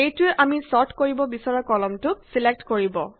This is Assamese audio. এইটোৱে আমি ছৰ্ট কৰিব বিচৰা কলমটোক ছিলেক্ট কৰিব